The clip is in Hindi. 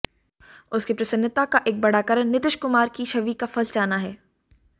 उसकी प्रसन्नता का एक बड़ा कारण नीतिश कुमार की छवि का फंस जाना है